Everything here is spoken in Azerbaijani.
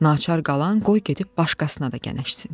Naçar qalan qoy gedib başqasına da gənəşsin.